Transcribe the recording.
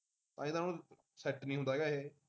set ਨੀ ਹੁੰਦਾ ਹੈਗਾ ਇਹ